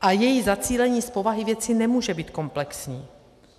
A její zacílení z povahy věci nemůže být komplexní.